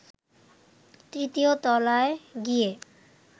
তৃতীয় তলায় গিয়ে